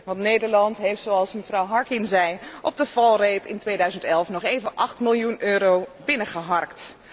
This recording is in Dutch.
Want Nederland heeft, zoals mevrouw Harkin zei, op de valreep in 2011 nog even 8 miljoen euro binnengeharkt.